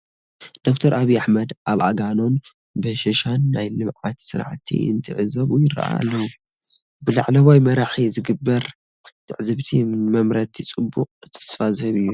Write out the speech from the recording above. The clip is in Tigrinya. ዶክተር ኣብዪ ኣሕመድ ኣብ ኣጋሮን በሻሻን ናይ ልምዓት ስራሕቲ እንትዕዘቡ ይርአዩ ኣለዉ፡፡ ብላዕለዋይ መራሒ ዝግበር ትዕዝብቲ ንመምረትቲ ፅቡቕ ተስፋ ዝህብ እዩ፡፡